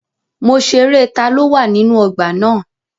Mo ṣerẹ́ taló wà nínú ọgbà na.